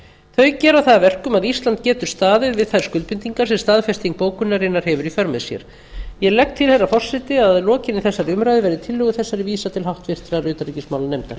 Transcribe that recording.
þau gera það að verkum að ísland getur staðið við þær skuldbindingar sem staðfesting bókunarinnar hefur í för með sér ég legg til herra forseti að að lokinni þessari umræðu verði tillögu þessari vísað til háttvirtrar utanríkismálanefndar